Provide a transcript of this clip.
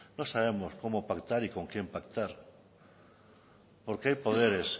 no sabemos cómo pactar y con quién pactar porque hay poderes